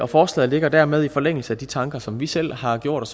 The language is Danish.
forslaget ligger dermed i forlængelse af de tanker som vi selv har gjort